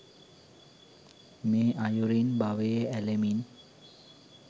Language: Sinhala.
මේ අයුරින් භවයේ ඇලෙමින්